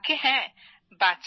আজ্ঞে হ্যাঁ